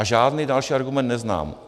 A žádný další argument neznám.